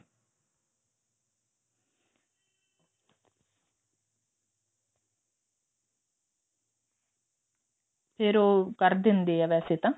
ਫ਼ੇਰ ਉਹ ਕਰ ਦਿੰਦੇ ਆ ਵੈਸੇ ਤਾਂ